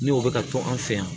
Ni o bɛ ka to an fɛ yan